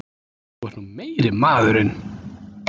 Þú ert nú meiri maðurinn!